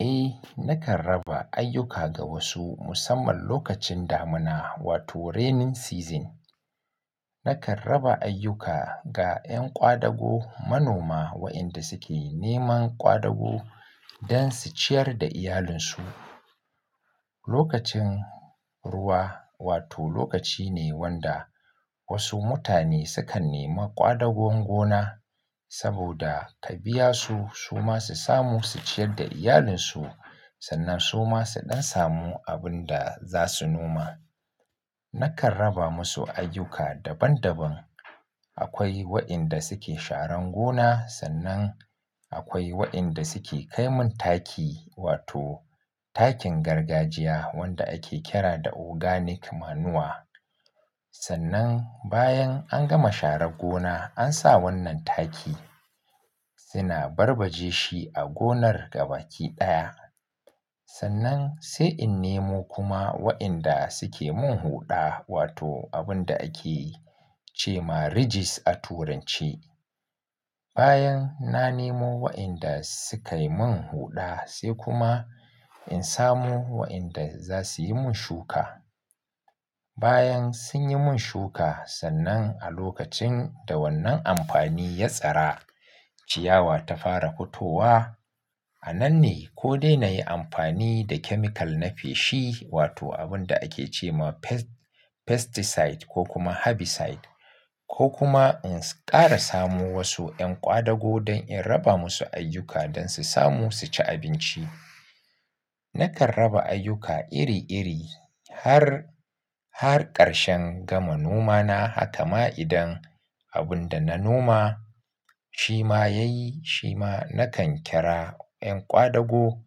Eh, na kan raba ayyuka ga wasu musamman lokacin damuna wato raining season. Na kan raba ayyuka ga 'yan ƙwadago manoma waɗanda suke neman ƙwadago don su ciyar da iyalansu. Lokacin ruwa wato lokaci ne wanda wasu mutane sukan neman ƙwadagon gona saboda ka biya su, su ma su samu su ciyar da iyalansu sannan su ma suɗan samu abun da za su noma. Na kan raba musu ayyuka daban daban. Akwai waɗanda suke sharan gona sannan akwai waɗanda suke kai mun taki wato takin gargajiya wanda ake kira da organic manure. Sannan bayan an gama sharan gona an sa wannan taki, suna barbaje shi a gonar gabaƙi ɗaya. Sannan sai in nemo kuma waɗanda suke mun huɗa wato abun da ake ce ma ridges a turanci. Bayan na nemo waɗanda su kai mun huɗa sai kuma in samu waɗanda za su yi mun shuka. Bayan sun yi mun shuka sannan a lokacin da wannan amfani ya tsara, ciyawa ta fara futtowa. A nan ne ko dai na yi amfani da chemical na feshi wato abun da ake ce ma pesticide ko kuma herbicide ko kuma in ƙara samu wasu 'yan ƙwadago don in raba musu ayyuka don su samu su ci abinci. Na kan raba ayyuka iri iri har, har ƙarshen gama noma na haka ma idan abun da na noma shi ma ya yi, shi ma na kan kira 'yan ƙwadago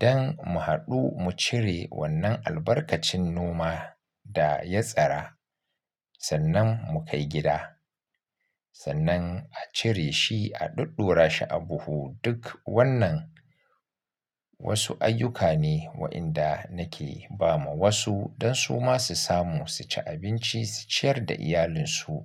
don mu haɗu mu cire wannan albarkacin noma da ya tsara sannan mu kai gida. Sannan a cire shi, a ɗudɗura shi a buhu. Duk wannan wasu ayyuka ne waɗanda na ke ba ma wasu don su ma su samu su ci abinci, su ciyar da iyalansu.